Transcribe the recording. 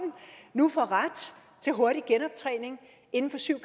nu får ret til hurtig genoptræning inden for syv